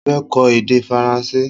Mo fẹ́ kọ́ èdè Faransé